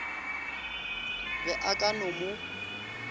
be a ka no mo